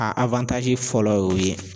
A awantazi fɔlɔ y'o ye